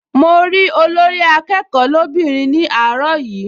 Mo rí Olórí-akẹ́kọ̀ọ́ lóbìnrin ní àárọ̀ yìí